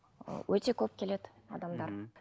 өте көп келеді адамдар